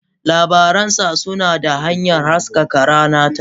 Labarin sa suna da hanyar haskaka rana ta.